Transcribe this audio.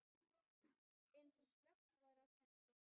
Eins og slökkt væri á kerti.